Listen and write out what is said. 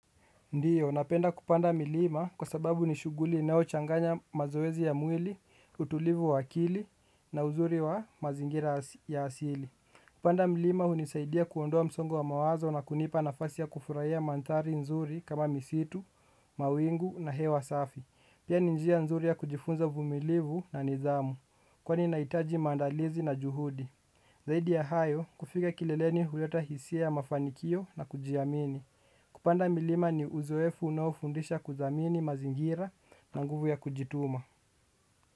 Ndiyo, napenda kupanda milima kwa sababu ni shughli inayochanganya mazoezi ya mwili, utulivu wa akili na uzuri wa mazingira ya asili. Kupanda milima unisaidia kuondoa msongo wa mawazo na kunipa nafasi ya kufurahia mandhari nzuri kama misitu, mawingu na hewa safi. Pia ni njia nzuri ya kujifunza uvumilivu na nidhamu, kwani inahitaji maandalizi na juhudi. Zaidi ya hayo, kufika kileleni huleta hisia ya mafanikio na kujiamini. Kupanda milima ni uzoefu unaofundisha kuthamini mazingira na nguvu ya kujituma.